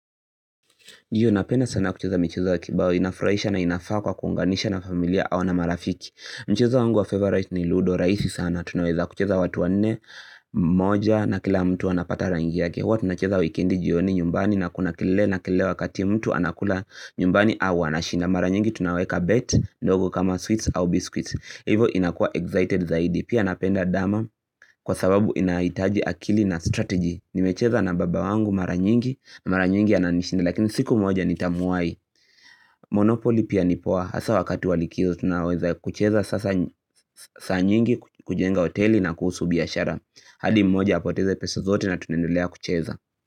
Hiyo napenda sana kucheza michezo ya kibao inafurahisha na inafaa kwa kuunganisha na familia au na marafiki Mchezo wangu wa favorite ni Ludo rahisi sana tunaweza kucheza watu wanne moja na kila mtu anapata rangi yake huwa tunacheza wikendi jioni nyumbani na kuna kelele na kele wakati mtu anakula nyumbani au anashinda Mara nyingi tunaweka bet ndogo kama sweets au biscuits Hivo inakua excited zaidi pia napenda dama kwa sababu inahitaji akili na strategy Nimecheza na baba wangu mara nyingi, mara nyingi ananishindi lakini siku moja nitamuwai. Monopoly pia nipoa hasa wakati wa likizo tunaweza kucheza sasa saa nyingi kujenga hoteli na kuhusu biashara. Hali mmoja apoteze pese zote na tunaendelea kucheza.